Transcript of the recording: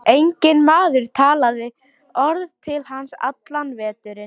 Enginn maður talaði orð til hans allan veturinn.